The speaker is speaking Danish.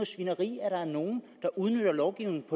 svineri at der er nogle der udnytter lovgivningen